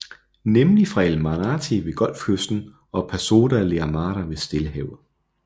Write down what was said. Nemlig fra El Manati ved Golfkysten og Pasoda la Amada ved Stillehavet